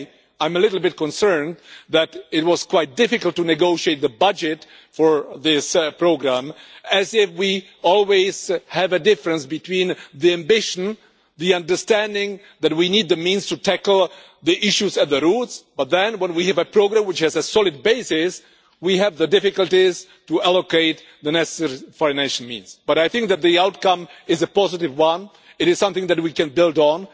I am a little bit concerned that it was quite difficult to negotiate the budget for this programme it is as if we always have a difference between the ambition and the understanding that we need the means to tackle the issues at the roots, but then when we have a programme which has a solid basis, we have the difficulties to allocate the necessary financial means. But I think that the outcome is a positive one, it is something that we can build on.